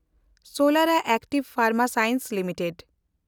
ᱥᱚᱞᱮᱱᱰᱟ active ᱯᱷᱮᱱᱰᱢᱟ science limited